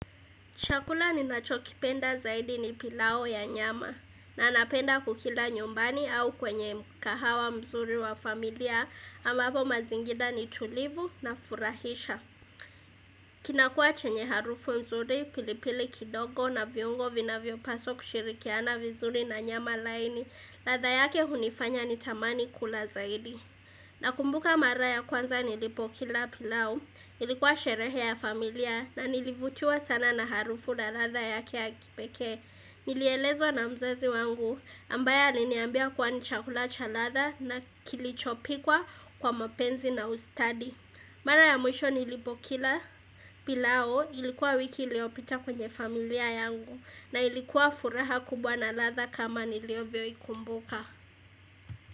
Chakula ninacho kipenda zaidi ni pilau ya nyama na napenda kukila nyumbani au kwenye mkahawa mzuri wa familia ambapo mazingira ni tulivu na furahisha. Kinakuwa chenye harufu nzuri, pilipili kidogo na viungo vinavyopaswa kushirikiana vizuri na nyama laini, ladha yake hunifanya nitamani kula zaidi. Nakumbuka mara ya kwanza nilipo kila pilau ilikuwa sherehe ya familia na nilivutiwa sana na harufu na latha yake ya kipekee Nilielezwa na mzazi wangu ambaye aliniambia kwani chakula cha ladha na kilichopikwa kwa mapenzi na ustadi Mara ya mwisho nilipo kila pilau ilikuwa wiki iliyopita kwenye familia yangu na ilikuwa furaha kubwa na ladha kama nilivyo ikumbuka.